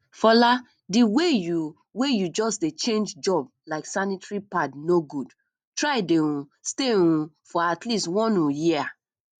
fola the way you way you just dey change job like sanitary pad no good try dey um stay um for atleast one um year